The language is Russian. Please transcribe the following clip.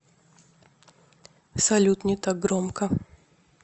салют не так громко